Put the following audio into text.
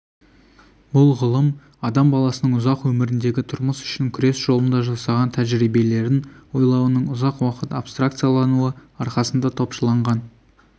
бұл ғылым адам баласының ұзақ өміріндегі тұрмыс үшін күрес жолында жасаған тәжірибелерін ойлауының ұзақ уақыт абстракциялануы арқасында топшыланған